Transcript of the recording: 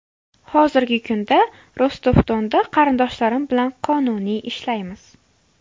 Hozirgi kunda Rostov-Donda qarindoshlarim bilan qonuniy ishlaymiz.